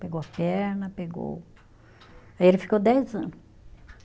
Pegou a perna, pegou, aí ele ficou dez ano.